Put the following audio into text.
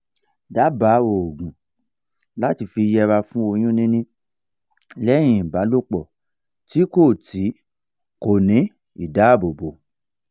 daba oogun lati fi yera fun oyun nini leyin ibalopo ti ko ti ko ni idabobo